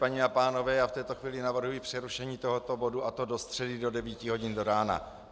Paní a pánové, já v této chvíli navrhuji přerušení tohoto bodu, a to do středy do 9 hodin do rána.